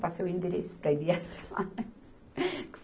Passei o endereço para ele ir até lá, né.